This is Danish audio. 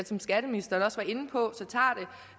som skatteministeren også var inde på tager